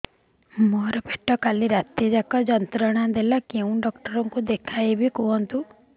ମୋର ପେଟ କାଲି ରାତି ଯାକ ଯନ୍ତ୍ରଣା ଦେଲା କେଉଁ ଡକ୍ଟର ଙ୍କୁ ଦେଖାଇବି କୁହନ୍ତ